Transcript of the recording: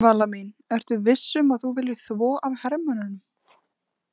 Vala mín, ertu viss um að þú viljir þvo af hermönnunum?